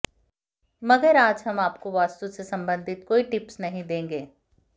मगर आज हम आपको वास्तु से संबंधित कोई टिप्स नहीं देंगे